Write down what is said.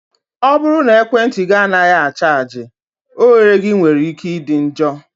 ọ bụrụ na ekwentị gị anaghị a chaji, oghere gị nwere ike ịdị njọ.